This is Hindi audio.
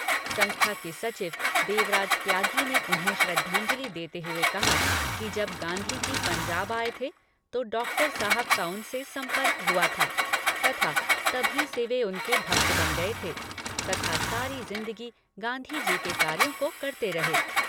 संस्था के सचिव देवराज त्यागी ने उन्हें श्रद्धांजली देते हुए कहा कि जब गांधी जी पंजाब आए थे तो डॉक्टर साहब का उनसे सम्पर्क हुआ था तथा तभी से वे उनके भक्त बन गए थे तथा सारी जिंदगी गांधी जी के कार्यों को करते रहे।